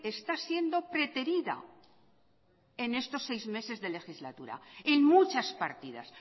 está siendo preterida en estos seis meses de legislatura en muchas partidas